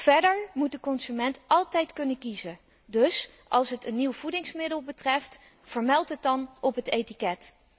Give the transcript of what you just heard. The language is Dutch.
Verder moet de consument altijd kunnen kiezen, dus als het een nieuw voedingsmiddel betreft, vermeld het dan op het etiket.